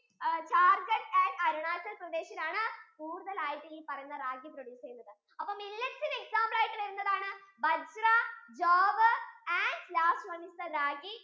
Jharkhand and Arunachal Pradesh ആണ് കൂടുതൽ ഈ പറയുന്ന ragi produce ചെയുന്നത്, അപ്പൊ millets ഇന് example ആയിട്ട് വരുന്നതാണ് bajra, jowar and ragi